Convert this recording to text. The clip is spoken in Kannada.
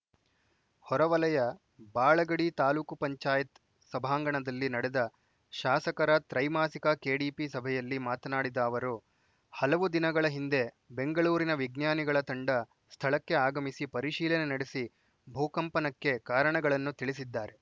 ಹೊರವಲಯ ಬಾಳಗಡಿ ತಾಲೂಕು ಪಂಚಾಯತ್ ಸಭಾಂಗಣದಲ್ಲಿ ನಡೆದ ಶಾಸಕರ ತ್ರೈಮಾಸಿಕ ಕೆಡಿಪಿ ಸಭೆಯಲ್ಲಿ ಮಾತನಾಡಿದ ಅವರು ಹಲವು ದಿನಗಳ ಹಿಂದೆ ಬೆಂಗಳೂರಿನ ವಿಜ್ಞಾನಿಗಳ ತಂಡ ಸ್ಥಳಕ್ಕೆ ಆಗಮಿಸಿ ಪರಿಶೀಲನೆ ನಡೆಸಿ ಭೂಕಂಪನಕ್ಕೆ ಕಾರಣಗಳನ್ನು ತಿಳಿಸಿದ್ದಾರೆ